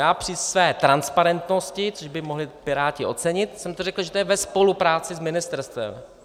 Já při své transparentnosti, což by mohli Piráti ocenit, jsem to řekl, že to je ve spolupráci s ministerstvem.